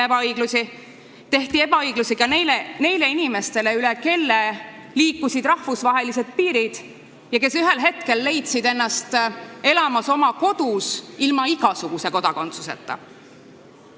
Ebaõiglus tabas nii sundüürnikke kui ka neid inimesi, kellest rahvusvahelised piirid üle liikusid ja kes ühel hetkel leidsid ennast ilma igasuguse kodakondsuseta oma kodus elamas.